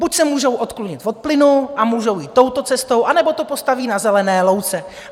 Buď se můžou odklonit od plynu a můžou jít touto cestou, anebo to postaví na zelené louce.